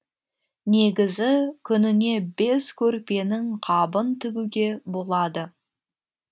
негізі күніне бес көрпенің қабын тігуге болады